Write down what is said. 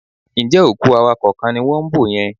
Ǹjẹ́ òkú awakọ̀ kan ni wọ́n ń bò yẹn?